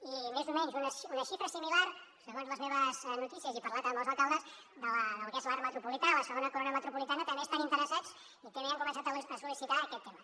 i més o menys una xifra similar segons les meves notícies i havent parlat amb els alcaldes del que és l’arc metropolità la segona corona metropolitana també hi estan interessats i també han començat a sol·licitar aquest tema